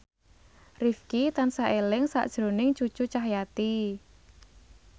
Rifqi tansah eling sakjroning Cucu Cahyati